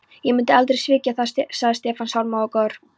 Ég myndi aldrei svíkja þig sagði Stefán, sármóðgaður.